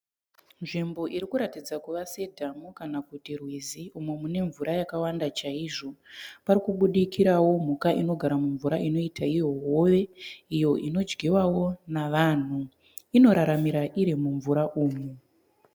Nzvimbo irikuratidza kuva sedhamu kana kuti rwizi umo mune mvura yakawanda chaizvo. parikubudirikawo mhuka inogara mumvura inoita iyo hove iyo inodyiwawo navanhu. Inoraramira iri mumvura umu.